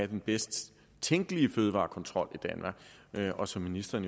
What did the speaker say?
den bedst tænkelige fødevarekontrol og som ministeren